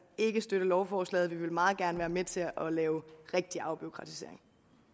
ikke støtte lovforslaget vi vil meget gerne være med til at lave rigtig afbureaukratisering